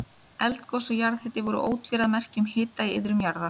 Eldgos og jarðhiti voru ótvíræð merki um hita í iðrum jarðar.